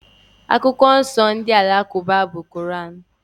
Akwụkwọ nsọ ndị Alakụba bụ Koran.